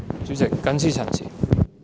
主席，我謹此陳辭。